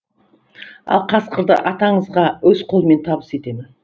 ал қасқырды атаңызға өз қолымнан табыс етемін